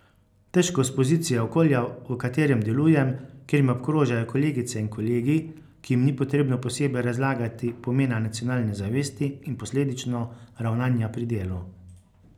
Težko s pozicije okolja, v katerem delujem, kjer me obkrožajo kolegice in kolegi, ki jim ni potrebno posebej razlagati pomena nacionalne zavesti in posledično ravnanja pri delu.